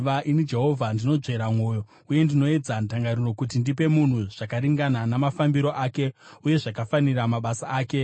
“Ini Jehovha ndinonzvera mwoyo uye ndinoedza ndangariro, kuti ndipe munhu zvakaringana namafambiro ake, uye zvakafanira mabasa ake.”